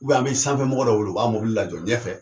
Ubnɛ an be sanfɛ mɔgɔ dɔ weele o b'a mobili la jɔ ɲɛfɛ